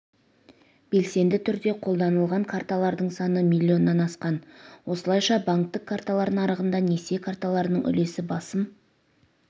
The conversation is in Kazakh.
белсенді түрде қолданылған карталардың саны миллионнан асқан осылайша банктік карталар нарығында несие карталарының үлесі басым